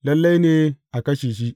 Lalle ne a kashe shi.